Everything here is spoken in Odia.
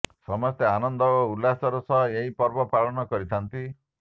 ସମସ୍ତେ ଆନନ୍ଦ ଓ ଉଲ୍ଲାସର ସହ ଏହି ପର୍ବ ପାଳନ କରିଥାନ୍ତି